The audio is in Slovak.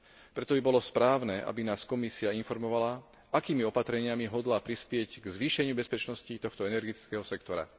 Preto by bolo správne, aby nás Komisia informovala, akými opatreniami hodlá prispieť k zvýšeniu bezpečnosti tohto energetického sektora.